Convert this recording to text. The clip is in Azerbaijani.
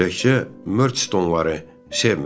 Təkcə Mörçstoneları sevmirəm.